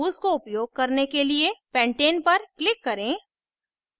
इन tools को उपयोग करने के लिए pentane पर click करें